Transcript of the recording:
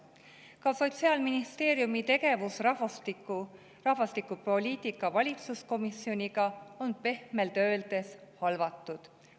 Ka Sotsiaalministeeriumi tegevus rahvastikupoliitika valitsuskomisjoniga on pehmelt öeldes halvatud.